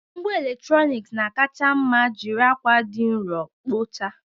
Ngwa eletrọnịkị na-akacha mma jiri akwa dị nro kpochaa